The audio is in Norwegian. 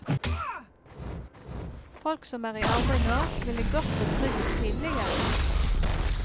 Folk som er i arbeid nå, ville gått på trygd tidligere.